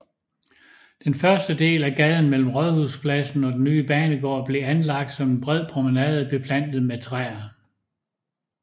Den første del af gaden mellem Rådhuspladsen og den nye banegård blev anlagt som en bred promenade beplantet med træer